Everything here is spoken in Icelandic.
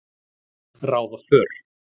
ráða för.